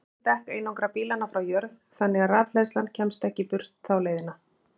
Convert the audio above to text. Þurr dekk einangra bílana frá jörð þannig að rafhleðslan kemst ekki burt þá leiðina.